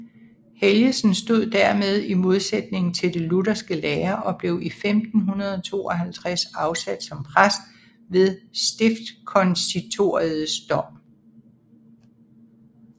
Helgesen stod dermed i modsætning til den lutherske lære og blev 1552 afsat som præst ved stiftskonsistoriets dom